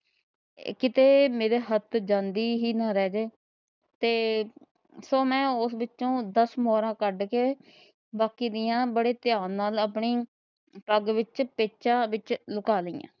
ਕਿਤੇ ਮੇਰੇ ਹੱਥ ਜਾਂਦੀ ਹੀ ਨਾ ਰਹਿ ਜੇ ਤੇ ਸੋਂ ਮੈ ਓਸ ਵਿੱਚੋ ਦਸ ਮੋਹਰਾ ਕੱਢ ਕੇ ਬਾਕੀ ਦੀਆ ਬੜੇ ਦਿਹਾਨ ਨਾਲ ਆਪਣੇ ਪੱਗ ਵਿੱਚ ਲੂਕਾ ਲੀਆ।